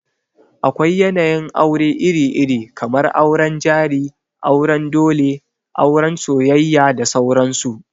Akwai yanayin aure iri-iri, kamar auren jari, auren dole, auran soyayya da sauran su.